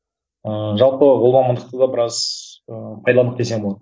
ыыы жалпы ол мамандықты да біраз ыыы пайдаландық десем болады